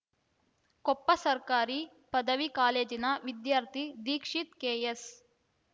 ಕೊಪ್ಪ ಸರ್ಕಾರಿ ಪದವಿ ಕಾಲೇಜಿನ ವಿದ್ಯಾರ್ಥಿ ದೀಕ್ಷೀತ್‌ ಕೆಎಸ್‌